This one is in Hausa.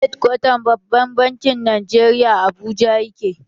Hedkwatan babban bankin Najeriya a Abuja ya ke